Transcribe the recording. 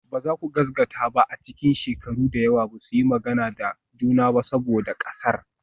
Ba za ku gaskata ba a cikin shekaru da yawa ba su yi magana da juna ba saboda ƙasar.